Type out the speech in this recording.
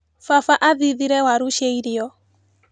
Baba athithire waru cia irio.